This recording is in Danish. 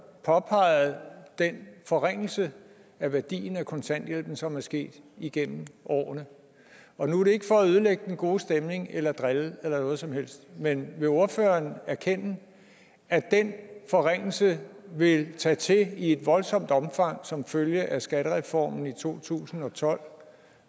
påpegede den forringelse af værdien af kontanthjælpen som er sket igennem årene nu er det ikke for at ødelægge den gode stemning eller drille eller noget som helst men vil ordføreren erkende at den forringelse vil tage til i et voldsomt omfang som følge af skattereformen i to tusind og tolv